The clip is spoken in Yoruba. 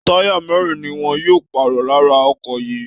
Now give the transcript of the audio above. Táyà mẹ́rin ni wọn yóò pààrọ̀ lára ọkọ̀ yìí